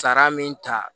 Sara min ta